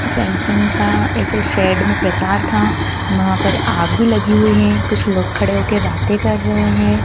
Samsung का ऐसे shed में प्रचार था वहां पर आग भी लगी हुई है कुछ लोग खड़े होके बातें कर रहे हैं।